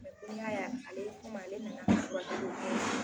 balimaya y'a kɔmi ale nana furakɛli la